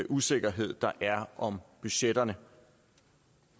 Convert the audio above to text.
usikkerhed der er om budgetterne